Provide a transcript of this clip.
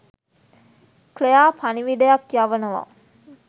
Claire පණිවිඩයක් යවනවා